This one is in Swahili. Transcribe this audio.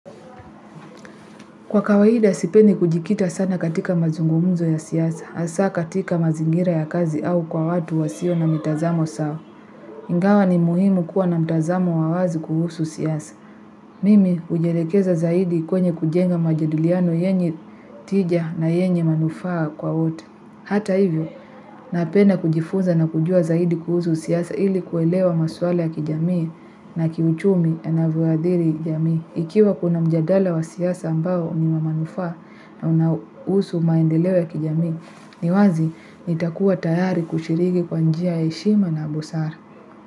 Kwa kawaida, sipendi kujikita sana katika mazungumzo ya siasa. Hasa katika mazingira ya kazi au kwa watu wasio na mitazamo sawa. Ingawa ni muhimu kuwa na mtazamo wa wazi kuhusu siasa. Mimi, hujielekeza zaidi kwenye kujenga majadiliano yenye tija na yenye manufaa kwa wote. Hata hivyo, napenda kujifunza na kujua zaidi kuhusu siasa ili kuelewa maswala ya kijamii na kiuchumi yanavyoathiri jamii. Ikiwa kuna mjadala wa siasa ambao ni wa manufaa na unahusu maendeleo ya kijamii, ni wazi nitakuwa tayari kushiriki kwa njia ya heshima na busara.